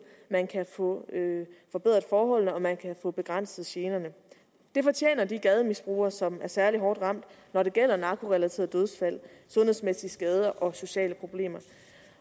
man kan få forbedret forholdene og man kan få begrænset generne det fortjener de gademisbrugere som er særlig hårdt ramt når det gælder narkorelaterede dødsfald sundhedsmæssige skader og sociale problemer